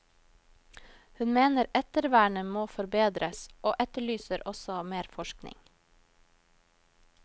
Hun mener ettervernet må forbedres og etterlyser også mer forskning.